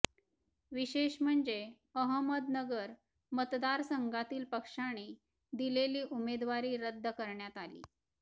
विशेष म्हणजे अहमदनगर मतदारसंघातील पक्षाने दिलेली उमेदवारी रद्द करण्यात आली